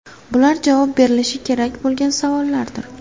Bular javob berilishi kerak bo‘lgan savollardir.